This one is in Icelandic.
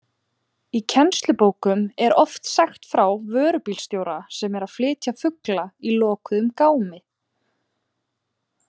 Í kennslubókum er oft sagt frá vörubílstjóra sem er að flytja fugla í lokuðum gámi.